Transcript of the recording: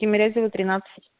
тимирязева тринадцать